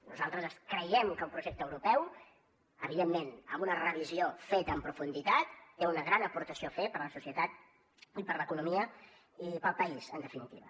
nosaltres creiem que el projecte europeu evidentment amb una revisió feta en profunditat té una gran aportació a fer per a la societat i per a l’economia i per al país en definitiva